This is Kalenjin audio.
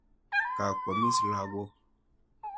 Ga kwamis lagok.